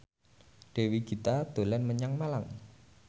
Dewi Gita dolan menyang Malang